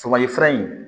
Sɔkɔli in